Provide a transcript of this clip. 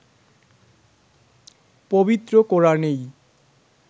পবিত্র কোরআনেই